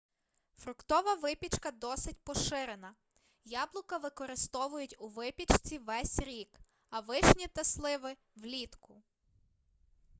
фруктова випічка досить поширена яблука використовують у випічці весь рік а вишні та сливи влітку